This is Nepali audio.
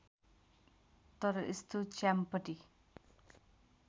तर यस्तो च्याम्पटी